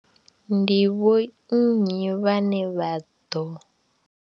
Ndi vho nnyi vhane vha ḓo.